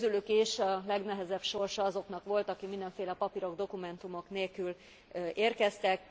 Közülük is a legnehezebb sorsa azoknak volt, akik mindenféle papírok, dokumentumok nélkül érkeztek.